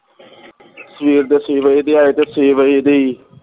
ਸਵੇਰ ਦੇ ਛੇ ਵਜੇ ਦੇ ਆਏ ਤੇ ਛੇ ਵਜੇ ਦੇ ਈ